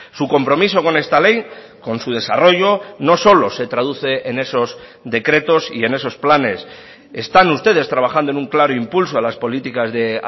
su compromiso con esta ley con su desarrollo no solo se traduce en esos decretos y en esos planes están ustedes trabajando en un claro impulso a las políticas de